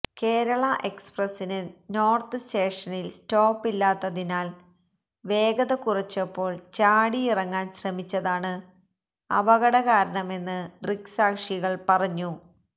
കേരള എക്സ്പ്രസിന് നോര്ത്ത് സ്റ്റേഷനില് സ്റ്റോപ്പ് ഇല്ലാത്തതിനാല് വേഗത കുറച്ചപ്പോള് ചാടിയിറങ്ങാന് ശ്രമിച്ചതാണ് അപകടകാരണമെന്ന് ദൃക്സാക്ഷികള് പറഞ്ഞു